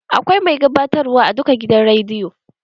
Akwai mai gabatarwa a duka gidan rediyo.